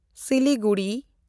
Siliguri